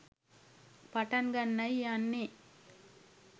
පටන් ගන්නයි යන්නේ